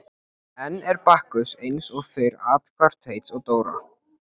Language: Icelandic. Enn er Bakkus eins og fyrr athvarf Teits og Dóra.